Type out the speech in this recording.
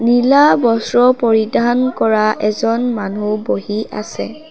নীলা বস্ত্ৰ পৰিধান কৰা এজন মানুহ বহি আছে।